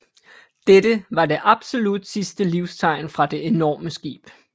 Dette var det absolut sidste livstegn fra det enorme skib